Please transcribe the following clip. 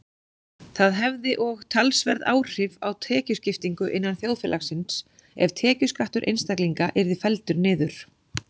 Það hefði og talsverð áhrif á tekjuskiptingu innan þjóðfélagsins ef tekjuskattur einstaklinga yrði felldur niður.